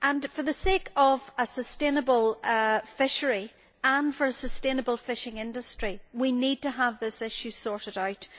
For the sake of a sustainable fishery and for a sustainable fishing industry, we need to have this issue sorted out.